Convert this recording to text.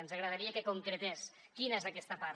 ens agradaria que concretés quina és aquesta part